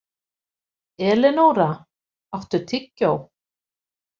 Elenóra, áttu tyggjó?